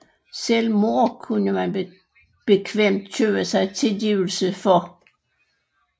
Selv mord kunne man bekvemt købe sig tilgivelse for